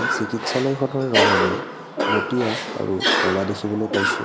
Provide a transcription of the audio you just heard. চিকিৎসালয়খনৰ ৰং আমি মটীয়া আৰু ক'লা দেখিবলৈ পাইছোঁ।